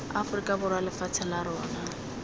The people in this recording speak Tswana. aforika borwa lefatshe la rona